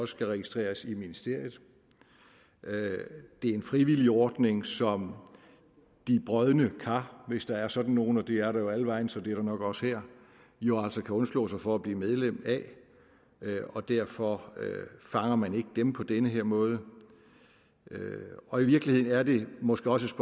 skal registreres i ministeriet det er en frivillig ordning som de brodne kar hvis der er sådan nogle det er der alle vegne så det er der nok også her jo altså kan undslå sig for at blive medlem af og derfor fanger man ikke dem på den her måde og i virkeligheden er det måske også